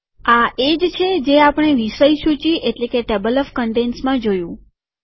આ એ જ છે જે આપણે વિષય સૂચિ ટેબલ ઓફ કન્ટેન્ટસમાં જોયું